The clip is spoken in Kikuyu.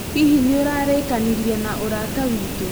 Hihi nĩ ũrarikanĩrie na ũrata witũ?